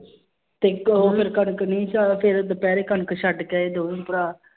ਤੇ ਇੱਕ ਉਹ ਫਿਰ ਕਣਕ ਨੀ ਸ ਫਿਰ ਦੁਪਹਿਰੇ ਕਣਕ ਛੱਡ ਕੇ ਆਏ ਦੋਵੇਂ ਭਰਾ।